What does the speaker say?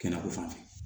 Kɛnɛko fan fɛ